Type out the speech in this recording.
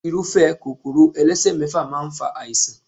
Irúfé Kòkòrò elesemefa máa ń fa àìsàn.